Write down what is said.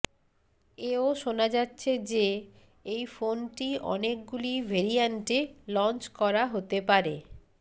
এও শোনা যাচ্ছে যে এই ফোনটি অনেকগুলি ভেরিয়ান্টে লঞ্চ করা হতে পারে